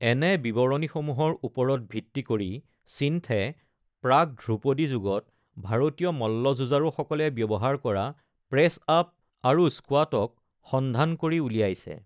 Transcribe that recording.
এনে বিৱৰণীসমূহৰ ওপৰত ভিত্তি কৰি স্বিন্থে প্ৰাক-ধ্ৰুপদী যুগত ভাৰতীয় মল্লযুঁজাৰুসকলে ব্যৱহাৰ কৰা প্ৰেছ-আপ আৰু স্কুৱাটক সন্ধান কৰি উলিয়াইছে।